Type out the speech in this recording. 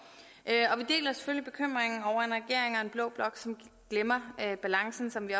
år og blå blok glemmer balancen som vi